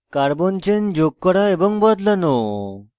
carbon chain যোগ করা এবং বদলানো